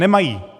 Nemají.